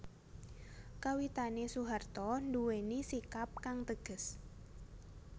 Kawitane Soeharto nduwèni sikap kang teges